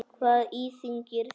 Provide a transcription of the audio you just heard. Hvað íþyngir þér?